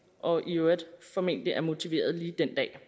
og i øvrigt formentlig er motiveret lige den dag